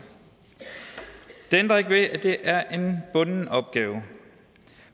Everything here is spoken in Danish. det ændrer ikke ved at det er en bunden opgave